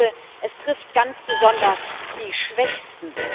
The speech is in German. Aber das Schlimmste Es trifft ganz besonders die Schwächsten.